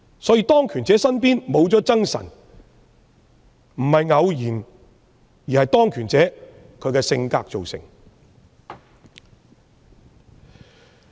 所以，當權者身邊沒有諍臣，並非偶然，而是當權者的性格造成。